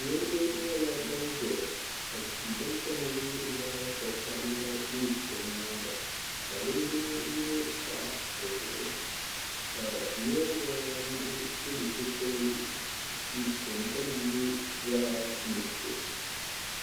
niriba nyɛla ban ʒeya ka tia din kama nyɛ zaɣ' vakahili la be bɛ nyaaga la linjima yino pahi bɛ zuɣu ka niriba anahi pili zupilisi din kama nyɛ zaɣ' nuɣisɔ.